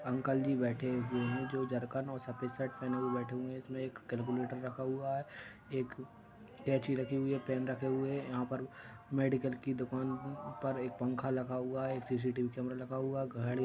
Uncle ji बैठे हुए हैं जो झरकण और सफेद शर्ट पहने हुए बैठें हुए है इसमें एक कैलकुलेटर रखा हुआ है एक कैची रखी हुई है पेन रखे हुए है यहां पर मेडिकल की दुकान पर एक पंखा लगा हुआ है। एक सीसीटीवी कैमरा लगा हुआ घड--